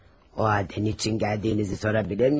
O halda nə üçün gəldiyinizi soruşa bilərəmmi?